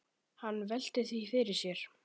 Hann veltir því fyrir sér.